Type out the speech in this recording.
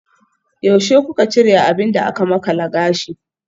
Yaushe kuka cire abin da aka makala gashi?